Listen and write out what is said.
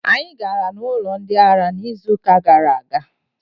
Anyị gara n'ụlọ ndị ara n'izuuka gara aga.